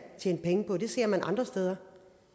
tjene penge på det ser man andre steder